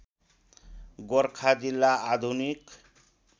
गोरखा जिल्ला आधुनिक